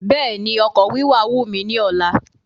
Béèni ọkọ̀ wíwà wù mí ní ọ̀la